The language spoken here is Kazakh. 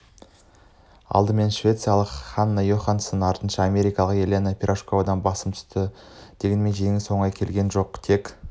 алдымен швециялық хенна йоханссонды артынша америкалық елена пирожковадан басым түсті дегенмен жеңіс оңай келген жоқ тек